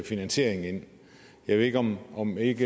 finansiering ind jeg ved ikke om om ikke